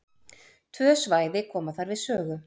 Tvö svæði koma þar við sögu.